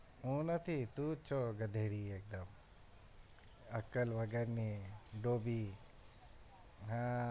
હું નથી તું જ છો ગધેડી એકદમ અક્કલ વગર ની ડોબી હાં